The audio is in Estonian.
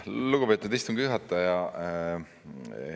Lugupeetud istungi juhataja!